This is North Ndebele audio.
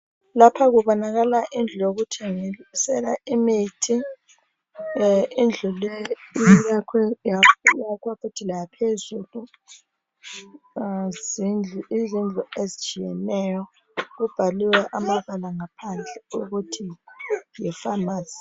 Lapha kubonakala indlu yokuthengisela imithi. Indlu leyi ziyakhiwe yakhwa futhi laphezulu .Yizindlu ezitshiyeneyo .Kubhaliwe amabala ngaphandle ukuthi yi pharmacy